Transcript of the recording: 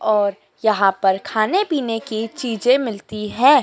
और यहां पर खाने पीने की चीजें मिलती है।